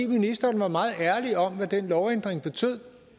ministeren var meget ærlig om hvad den lovændring betød